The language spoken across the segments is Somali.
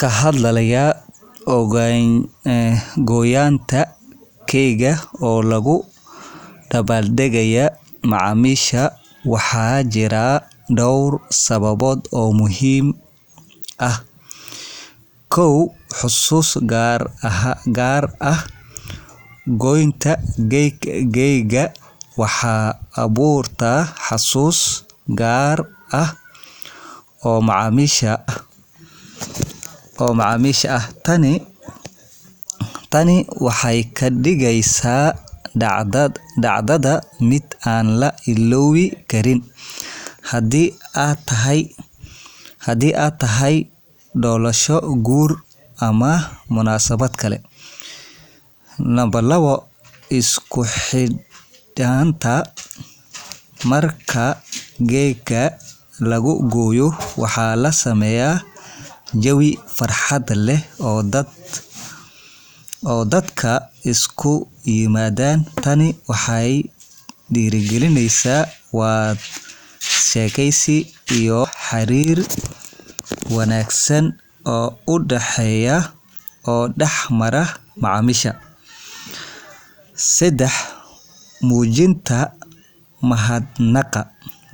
Ka hadlaya gooynta keega oo loogu dabaaldegayo macaamiisha, waxaa jira dhowr sababood oo muhiim ah: .Xusuus Gaar ah Gooynta keega waxay abuurtaa xusuus gaar ah oo macaamiisha ah. Tani waxay ka dhigeysaa dhacdada mid aan la ilaawi karin, haddii ay tahay dhalasho, guur, ama munaasabad kale. .Isku Xidhnaanta Marka keega la gooyo, waxaa la sameeyaa jawi farxad leh oo dadka isugu yimaadaan. Tani waxay dhiirrigelisaa wada sheekeysi iyo xiriir wanaagsan oo dhex mara macaamiisha. .Muujinta Mahadnaqa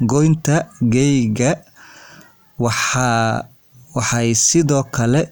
Gooynta keega waxay sidoo kale muujinaysaa mahadnaqa iyo qadarin macaamiisha. Waxay dareemi doonaan in la qiimeeyo,